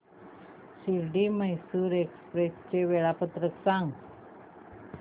Shirdi Mysore express चे वेळापत्रक सांग